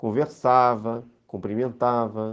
Conversava, cumprimentava.